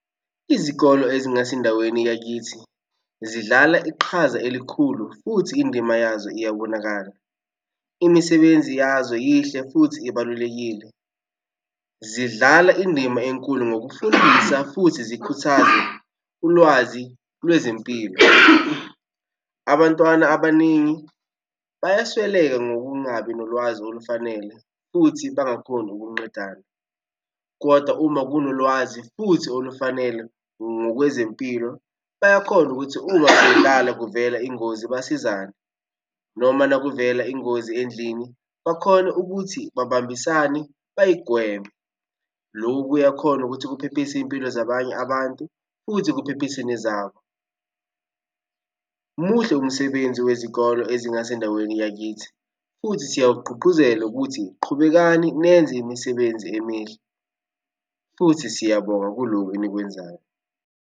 Izikolo ezingasendaweni yakithi zidlala iqhaza elikhulu futhi indima yazo iyabonakala. Imisebenzi yazo yihle futhi ibalulekile. Zidlala indima enkulu ngokufundisa futhi zikhuthaze ulwazi lwezempilo. Abantwana abaningi bayasweleka ngokungabi nolwazi olufanele, futhi bangakhoni ukunqedana, kodwa uma kunolwazi futhi olufanele ngokwezempilo bayakhona ukuthi uma udlala kuvela ingozi besizane noma makuvela ingozi endlini bakhone ukuthi babambisane bayigweme. Loku kuyakhona ukuthi kuphephise iy'mpilo zabanye abantu futhi kuphephise nezabo. Muhle umsebenzi wezikolo ezingasendaweni yakithi futhi siyawugqugquzela ukuthi qhubekani nenze imisebenzi emihle futhi siyabonga kulokhu enikwenzayo.